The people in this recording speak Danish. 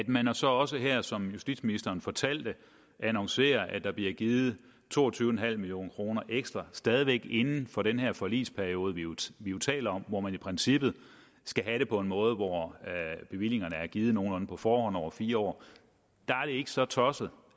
man har så også her som justitsministeren fortalte annonceret at der bliver givet to og tyve million kroner ekstra stadig væk jo inden for den her forligsperiode vi jo taler om hvor man i princippet skal have det på en måde hvor bevillingerne er givet nogenlunde på forhånd over fire år der er det ikke så tosset